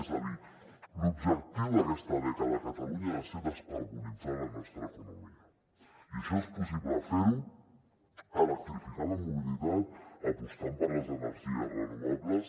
és a dir l’objectiu d’aquesta dècada a catalunya ha de ser descarbonitzar la nostra economia i això és possible fer ho electrificant la mobilitat apostant per les energies renovables